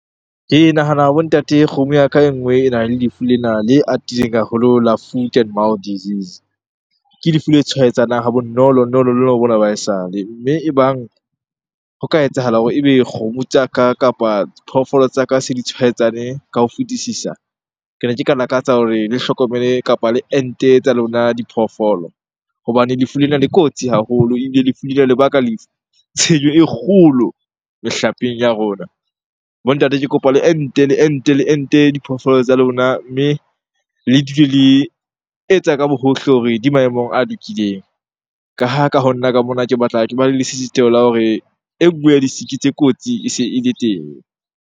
Ke nahana bo ntate kgomo ya ka e nngwe e nang le lefu lena le atileng haholo la foot and mouth disease. Ke lefu le tshwaetsanang ha bonolonolo bona ba ha esale. Mme ebang ho ka etsahala hore ebe kgomo tsa ka kapa phoofolo tsa ka se di tshwaetsane ka ho fetisisa, ke ne ke ka lakatsa hore le hlokomele kapa le ente tsa lona diphoofolo. Hobane lefu lena le kotsi haholo ebile lefu lena lebaka le tshenyo e kgolo mehlapeng ya rona. Bo ntate ke kopa le ente, le ente, le ente diphoofolo tsa lona mme le dule le etsa ka bo hohle hore di maemong a lokileng. Ka ha ka ho nna ka mona ke batla ke ba le lesisitheho la hore e nngwe ya di-sick-i tse kotsi e se ele teng.